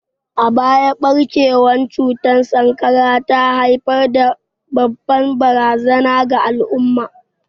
A baya, barkewar cutar sankara ta haifar da babbar barazana ga al'umma.